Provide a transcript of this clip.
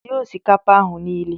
Sie osikapa ahụ niile.